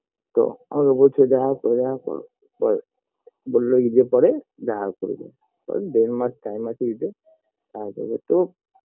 তো আমাকে বলেছে দেখা করো দেখা করো পার বললো ঈদের পরে দেখা করবে ওই দের মাস time আছে ঈদে তারপরে তো